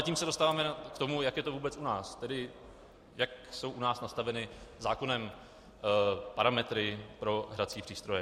A tím se dostáváme k tomu, jak je to vůbec u nás, tedy jak jsou u nás nastaveny zákonem parametry pro hrací přístroje.